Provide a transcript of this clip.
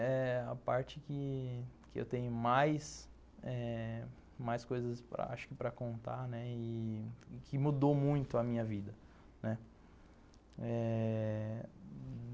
É a parte que eu tenho mais eh mais coisas acho que para contar, né, e que mudou muito a minha vida, né. É...